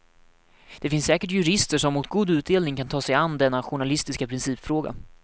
Det finns säkert jurister som mot god utdelning kan ta sig an denna journalistiska principfråga.